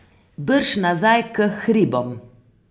Brž nazaj k hribom.